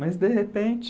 Mas de repente...